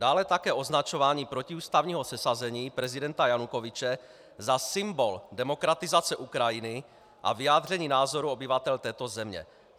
Dále také označování protiústavního sesazení prezidenta Janukovyče za symbol demokratizace Ukrajiny a vyjádření názorů obyvatel této země.